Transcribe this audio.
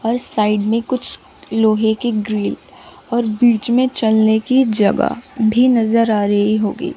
और साइड में कुछ लोहे के ग्रिल और बीच में चलने की जगह भी नजर आ रही होगी।